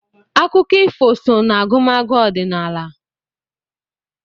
Akụkọ ifo so n'agụmagụ ọdịnala.